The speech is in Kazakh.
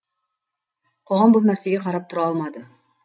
қоғам бұл нәрсеге қарап тұра алмады